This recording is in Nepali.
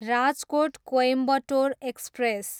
राजकोट, कोइम्बटोर एक्सप्रेस